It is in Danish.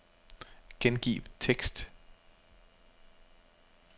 Gengiv tekst.